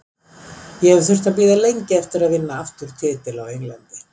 Ég hef þurft að bíða lengi eftir að vinna aftur titil á Englandi.